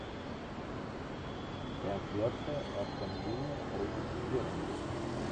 трансляция астон вилла против бернли